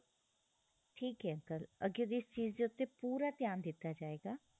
ਠੀਕ ਏ uncle ਅਗਿਓ ਦੀ ਇਸ ਚੀਜ ਤੇ ਉਤੇ ਪੂਰਾ ਧਿਆਨ ਦਿੱਤਾ ਜਾਏਗਾ